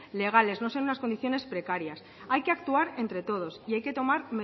legales no sean unas condiciones precarias hay que actuar entre todos y hay que tomar